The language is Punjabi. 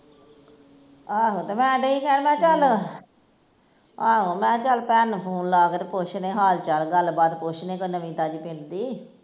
ਆਹੋ ਤੇ ਮੈਂ ਡਈ ਸੀ ਕਹਿਣ ਮੈਂ ਕਿਹਾ ਚੱਲ ਆਹੋ ਮੈਂ ਕਿਹਾ ਚੱਲ ਭੈਣ ਨੂੰ phone ਲਾਕੇ ਤੇ ਪੁੱਛਦੇ ਆ ਹਾਲ ਚਾਲ, ਗੱਲ ਬਾਤ ਕੋਈ ਪੁੱਛਦੇ ਆ ਨਵੀਂ ਤਾਜ਼ੀ ਪਿੰਡ ਦੀ